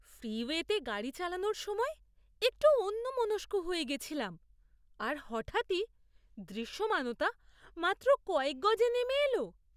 ফ্রিওয়েতে গাড়ি চালানোর সময় একটু অন্যমনস্ক হয়ে গেছিলাম আর হঠাৎই দৃশ্যমানতা মাত্র কয়েক গজে নেমে এল।